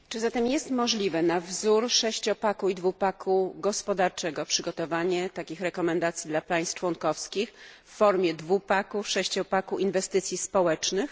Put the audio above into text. Czy zatem jest możliwe na wzór sześciopaku i dwupaku gospodarczego przygotowanie takich rekomendacji dla państw członkowskich w formie dwupaku i sześciopaku inwestycji społecznych?